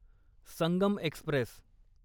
Sangam Express